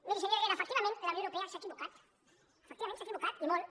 miri senyor herrera efectivament la unió europea s’ha equivocat efectivament s’ha equivocat i molt